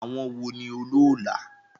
Àwọn wo ni olóólà?